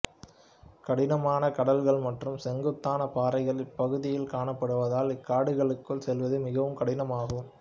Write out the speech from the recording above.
கடினமான கடல்கள் மற்றும் செங்குத்தான பாறைகள் இப்பகுதியில் காணப்படுவதால் இக்காடுகளுக்குள் செல்வது மிகவும் கடினமாகும்